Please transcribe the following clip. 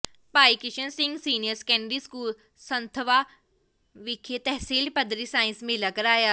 ਭਾਈ Krishan Singh senior secondary school Sandhwan ਵਿਖੇ ਤਹਿਸੀਲ ਪੱਧਰੀ science ਮੇਲਾ ਕਰਵਾਇਆ